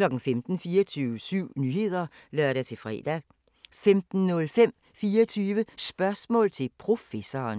15:00: 24syv Nyheder (lør-fre) 15:05: 24 Spørgsmål til Professoren